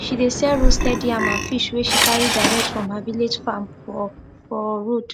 she dey sell roasted yam and fish wey she carry direct from her village farm for for road